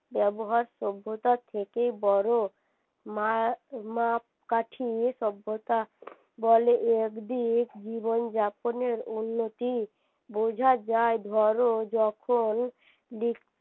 ব্যবহার সভ্যতা থেকে বড় মাপকাঠি সভ্যতা বলে একদিক জীবন যাপনের উন্নতি বুঝা যায় ধরো যখন